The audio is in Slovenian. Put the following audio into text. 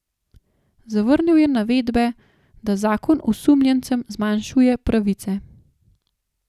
Zavrnil je navedbe, da zakon osumljencem zmanjšuje pravice.